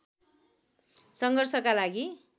सङ्घर्षका लागि